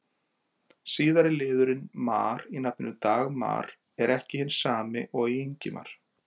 Síðari liðurinn-mar í nafninu Dagmar er ekki hinn sami og í Ingimar.